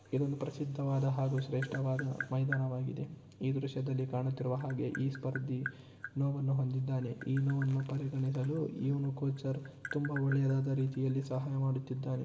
ಇದೊಂದು ಪ್ರಸಿದ್ಧವಾದ ಹಾಗೂ ಶ್ರೇಷ್ಟವಾದ ಮೈದಾನವಾಗಿದೆ ಈ ದೃಶ್ಯದಲ್ಲಿ ಕಾಣುತ್ತಿರುವ ಹಾಗೆ ಈ ಸ್ಪರ್ದಿ ನೋವನ್ನು ಹೊಂದಿದ್ದಾನೆ ಈ ನೋವನ್ನು ಪರಿಗಣಿಸಲು ಇವ್ನು ಕೋಚರ್ ತುಂಬಾ ಒಳ್ಳೆಯದಾದ ರೀತಿಯಲ್ಲಿ ಸಹಾಯ ಮಾಡುತ್ತಿದ್ದಾನೆ .